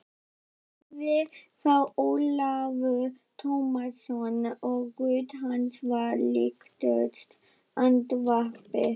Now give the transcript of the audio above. hváði þá Ólafur Tómasson og rödd hans var líkust andvarpi.